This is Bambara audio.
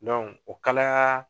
Dɔnku o kalayaa